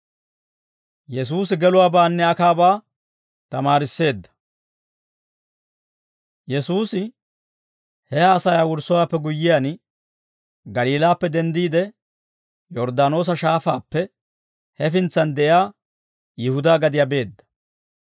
Yesuusi he haasayaa wurssowaappe guyyiyaan, Galiilaappe denddiide, Yorddaanoosa Shaafaappe hefintsan de'iyaa Yihudaa gadiyaa beedda.